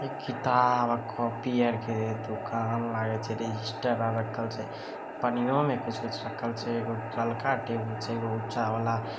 ये किताब और कॉपी आर के दुकान लागे छै रजिस्टर आर रखल छै पन्नियों में कुछ-कुछ रखल छै एगो ललका टेबुल छै एगो ऊंचा वाला--